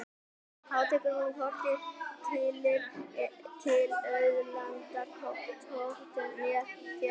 Þá tekur hún hvorki tillit til auðlindanotkunar né tekjuskiptingar.